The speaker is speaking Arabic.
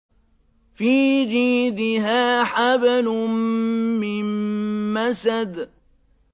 فِي جِيدِهَا حَبْلٌ مِّن مَّسَدٍ